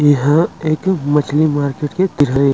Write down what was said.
यहाँ एक मछली मार्केट के तिर हे।